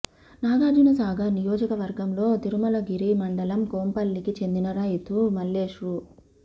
నాగార్జునసాగర్ నియోజకవర్గంలో తిరుమలగిరి మండలం కొంపల్లికి చెందిన రైతు మల్లేష్ రూ